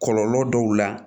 Kɔlɔlɔ dɔw la